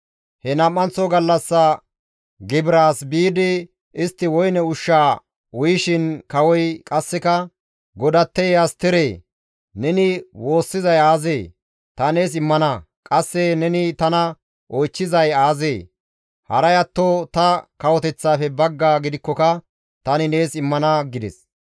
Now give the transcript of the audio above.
He nam7anththo gallassa gibiraas biidi istti woyne ushshaa uyishin kawoy qasseka, «Godatteye Asteree! Neni woossizay aazee? Ta nees immana. Qasse neni tana oychchizay aazee? Haray atto ta kawoteththaafe baggaa gidikkoka tani nees immana» gides.